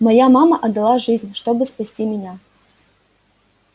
моя мама отдала жизнь чтобы спасти меня